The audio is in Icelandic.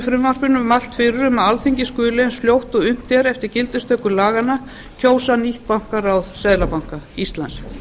frumvarpinu mælt fyrir um að alþingi skuli eins fljótt og unnt er eftir gildistöku laganna kjósa nýtt bankaráð seðlabanka íslands